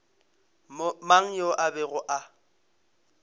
mang yo a bego a